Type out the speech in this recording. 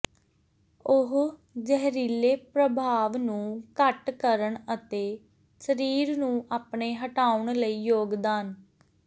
ਉਹ ਜ਼ਹਿਰੀਲੇ ਪ੍ਰਭਾਵ ਨੂੰ ਘੱਟ ਕਰਨ ਅਤੇ ਸਰੀਰ ਨੂੰ ਆਪਣੇ ਹਟਾਉਣ ਲਈ ਯੋਗਦਾਨ